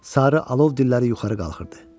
Sarı alov dilləri yuxarı qalxırdı.